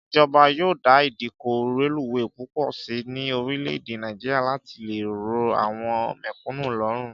Ìjọba yóò dá ìdíkọ̀ reluwé púpọ̀ sí ní orílè èdè Nàìjíríà láti lè rọ àwọn mẹ̀kúnnù lọ́rùn